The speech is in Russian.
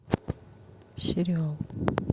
сериал